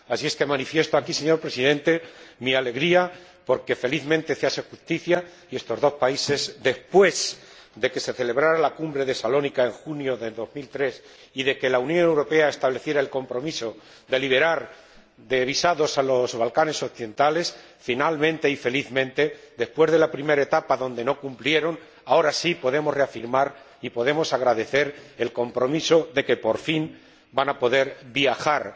Así es que manifiesto aquí, señor Presidente, mi alegría porque felizmente se hace justicia y porque, después de que se celebrara la cumbre de Salónica en junio de 2003 y de que la Unión Europea estableciera el compromiso de eximir de visados a los Balcanes occidentales, finalmente y felizmente, después de la primera etapa en la que estos dos países no cumplieron los requisitos, ahora sí podemos reafirmar y podemos agradecer el compromiso de que, por fin, van a poder viajar